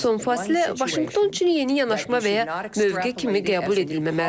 Son fasilə Vaşinqton üçün yeni yanaşma və ya mövqe kimi qəbul edilməməlidir.